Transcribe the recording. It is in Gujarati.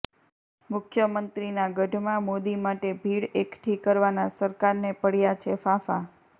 મુખ્યમંત્રીના ગઢમાં મોદી માટે ભીડ અેકઠી કરવાનાં સરકારને પડ્યાં છે ફાંફા